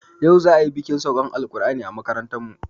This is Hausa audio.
Yau za ayi bikin saukan alƙur'ani a makarantarmu